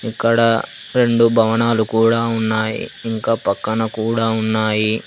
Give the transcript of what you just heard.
ఇక్కడ రెండు భవనాలు కూడా ఉన్నాయి ఇంకా పక్కన కూడా ఉన్నాయి.